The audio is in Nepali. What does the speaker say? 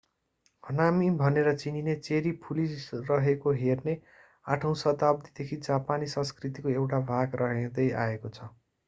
हानामी भनेर चिनिने चेरी फुलिरहेको हेर्ने 8 औँ शताब्दीदेखि जापानी संस्कृतिको एउटा भाग रहँदै आएको छ